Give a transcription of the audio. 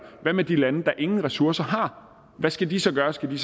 hvad med de lande der ingen ressourcer har hvad skal de så gøre skal de